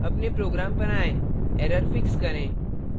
अपने program पर आएँ error fix करें